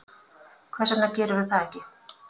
Hvers vegna gerirðu það ekki?